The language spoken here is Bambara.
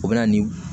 O bɛ na nin